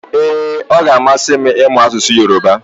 Ee, ọ ga-amasị m ịmụ asụsụ Yorùbá